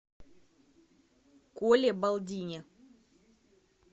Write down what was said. коле балдине